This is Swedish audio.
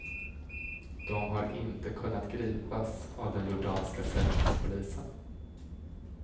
De har inte kunnat gripas av den jordanska säkerhetspolisen.